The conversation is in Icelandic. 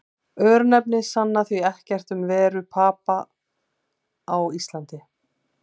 Örnefni sanna því ekkert um veru Papa á Íslandi.